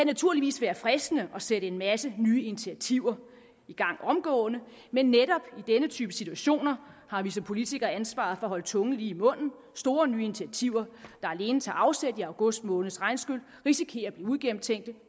naturligvis være fristende at sætte en masse nye initiativer i gang omgående men netop i denne type situationer har vi som politikere ansvaret for at holde tungen lige i munden store nye initiativer der alene tager afsæt i august måneds regnskyl risikerer at blive uigennemtænkte